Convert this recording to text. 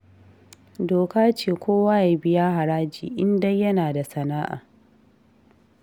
Doka ce kowa ya biya haraji, in dai yana da sana'a